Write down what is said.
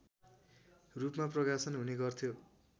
रूपमा प्रकाशन हुने गर्थ्यो